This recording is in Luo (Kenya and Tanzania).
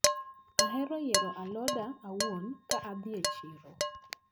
Ahero yiero aloda awuon ka adhi e chiro.